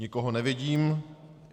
Nikoho nevidím.